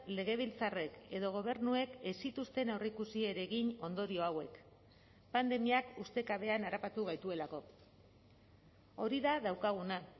legebiltzarrek edo gobernuek ez zituzten aurreikusi ere egin ondorio hauek pandemiak ustekabean harrapatu gaituelako hori da daukaguna